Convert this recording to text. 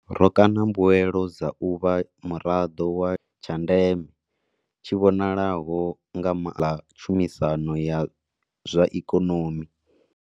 Ro kaṋa mbuelo dza u vha muraḓo wa tsha ndeme, tshi vhonalaho nga ma ḽa tshumisano ya zwa ikonomi.